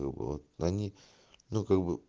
вот они ну как бы